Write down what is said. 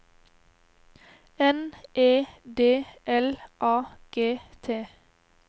N E D L A G T